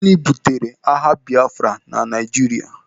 Gịnị butere agha Biafra na Naijiria?